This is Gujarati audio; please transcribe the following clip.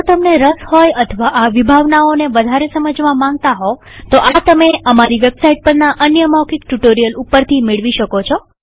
જો તમને રસ હોય અથવા આ વિભાવનાઓને વધારે સમજવા માંગતા હોવ તો આ તમે અમારી વેબસાઈટ પરના અન્ય મૌખિક ટ્યુ્ટોરીઅલ ઉપરથી મેળવી શકો છો